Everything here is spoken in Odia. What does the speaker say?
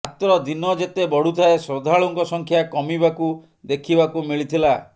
ମାତ୍ର ଦିନ ଯେତେ ବଢୁଥାଏ ଶ୍ରଦ୍ଧାଳୁଙ୍କ ସଂଖ୍ୟା କମିବାକୁ ଦେଖିବାକୁ ମିଳିଥିଲା